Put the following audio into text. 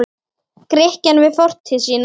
Grikkja við fortíð sína.